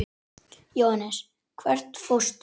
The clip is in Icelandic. Jóhannes: Hvert fórstu?